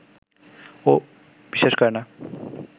ও বিশ্বাস করে না